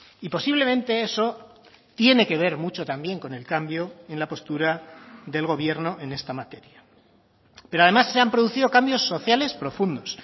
y posiblemente eso tiene que ver mucho también con el cambio en la postura del gobierno en esta materia pero además se han producido cambios sociales profundos